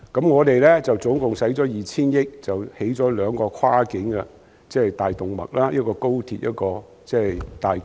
我們總共花費 2,000 億元興建兩條跨境大動脈，即高鐵和港珠澳大橋。